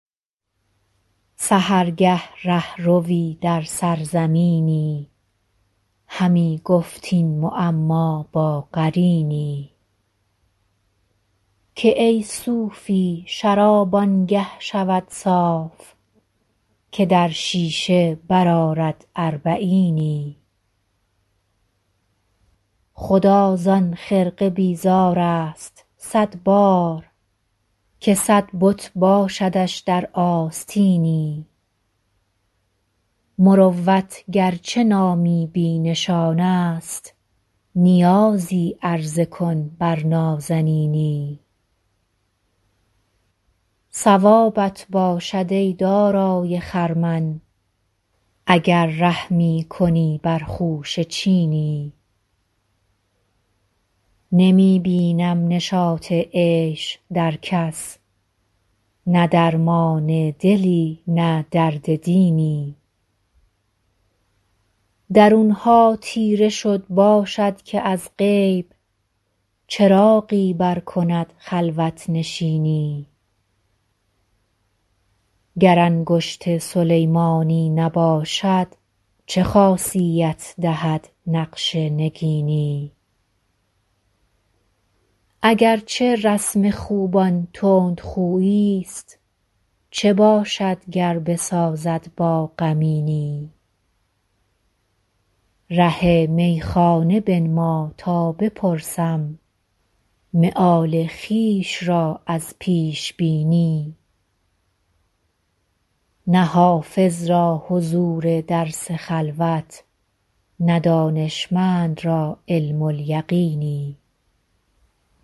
سحرگه ره ‎روی در سرزمینی همی گفت این معما با قرینی که ای صوفی شراب آن گه شود صاف که در شیشه برآرد اربعینی خدا زان خرقه بیزار است صد بار که صد بت باشدش در آستینی مروت گر چه نامی بی نشان است نیازی عرضه کن بر نازنینی ثوابت باشد ای دارای خرمن اگر رحمی کنی بر خوشه چینی نمی بینم نشاط عیش در کس نه درمان دلی نه درد دینی درون ها تیره شد باشد که از غیب چراغی برکند خلوت نشینی گر انگشت سلیمانی نباشد چه خاصیت دهد نقش نگینی اگر چه رسم خوبان تندخویی ست چه باشد گر بسازد با غمینی ره میخانه بنما تا بپرسم مآل خویش را از پیش بینی نه حافظ را حضور درس خلوت نه دانشمند را علم الیقینی